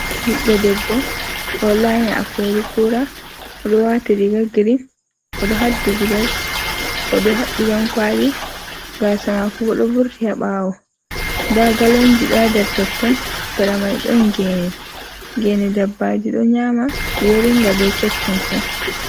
Ɓiɗɗo debbo ɗo lanya a kori kura, odo wati riga green o do haddi gudel o do habbi dankwali, gasamako bo do vurti haɓawo, nda galonji ɗo haa nder totton seramai don gene, gene dabbaji ɗo nyama yoringa be keccun fu.